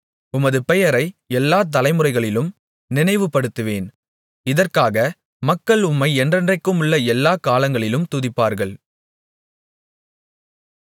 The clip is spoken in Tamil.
உமது பெயரை எல்லாத் தலைமுறைகளிலும் நினைவுபடுத்துவேன் இதற்காக மக்கள் உம்மை என்றென்றைக்குமுள்ள எல்லாக் காலங்களிலும் துதிப்பார்கள்